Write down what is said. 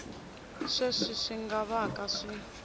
sweswi swi nga vaka swi